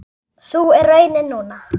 Sú er raunin núna.